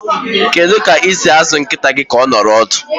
Kedu ka esi azụ nkịta gị ka ọ nọrọ ọdụ?